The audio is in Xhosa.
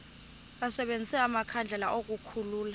basebenzise amakhandlela ukukhulula